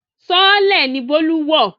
Sọọ́lẹ̀ ni Bólú wọ̀